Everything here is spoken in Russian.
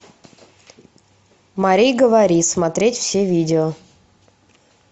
мари говори смотреть все видео